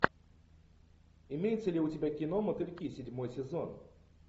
имеется ли у тебя кино мотыльки седьмой сезон